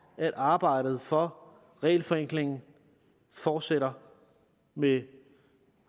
at arbejdet for regelforenkling fortsætter med